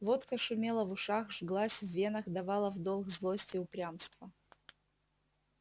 водка шумела в ушах жглась в венах давала в долг злость и упрямство